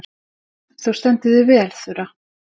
Þú stendur þig vel, Þura!